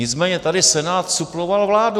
Nicméně tady Senát suploval vládu.